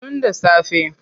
Tun da safe.